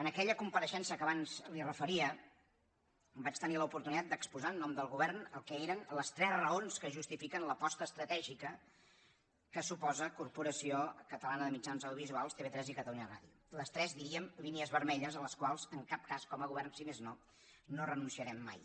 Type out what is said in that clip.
en aquella compareixença que abans li referia vaig tenir l’oportunitat d’exposar en nom del govern el que eren les tres raons que justifiquen l’aposta estratègica que suposen la corporació catalana de mitjans audiovisuals tv3 i catalunya ràdio les tres diríem línies vermelles a les quals en cap cas com a govern si més no no renunciarem mai